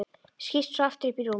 Skýst svo aftur upp í rúm.